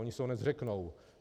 Oni se ho nezřeknou.